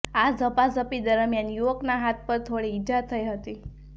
આ ઝપાઝપી દરમિયાન યુવકના હાથ પર થોડી ઈજા થયી હતી